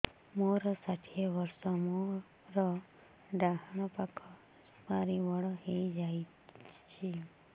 ମୋର ଷାଠିଏ ବର୍ଷ ମୋର ଡାହାଣ ପାଖ ସୁପାରୀ ବଡ ହୈ ଯାଇଛ